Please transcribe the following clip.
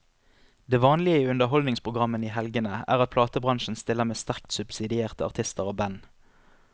Det vanlige i underholdningsprogrammene i helgene er at platebransjen stiller med sterkt subsidierte artister og band.